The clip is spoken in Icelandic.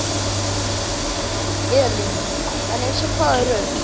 Elín: En eins og hvaða rök?